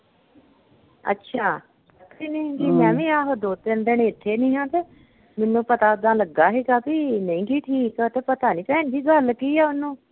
ਅੱਛਾ, ਕਿੰਨੇ ਹਮ ਦਿਨ ਦੀ ਮੈਂ ਵੀ ਆਹੋ ਦੋ ਤਿੰਨ ਦੇਖੀ ਨੀਂ ਆ ਮੈਨੂੰ ਪਤਾ ਪੁੱਤਾ ਲੱਗਾ ਹੀਗਾ ਬਈ ਨਹੀਂ ਹੀ ਠੀਕ ਤੇ ਪਤਾ ਨੀ ਭੈਣ ਜੀ ਗੱਲ ਕੀ ਆ ਓਹਨੂੰ?